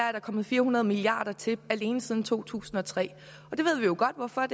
er kommet fire hundrede milliard kroner til alene siden to tusind og tre og det ved vi jo godt hvorfor er